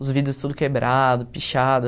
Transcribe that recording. Os vidros tudo quebrados, pichados.